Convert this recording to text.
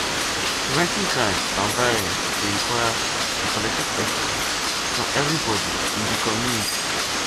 preventing crime and violence dey require a collective effort from everybody in di community